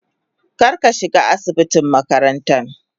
kar ka shiga asibitin makarantan.